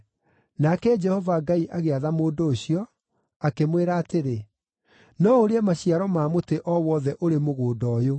Nake Jehova Ngai agĩatha mũndũ ũcio, akĩmwĩra atĩrĩ, “No ũrĩe maciaro ma mũtĩ o wothe ũrĩ mũgũnda ũyũ;